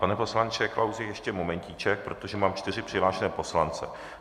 Pane poslanče Klausi, ještě momentíček, protože mám čtyři přihlášené poslance.